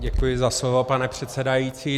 Děkuji za slovo, pane předsedající.